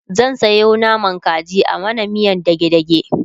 zan Sayo naman kaji a mana miyan dage dage